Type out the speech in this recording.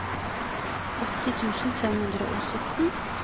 åtti tusen fem hundre og sytten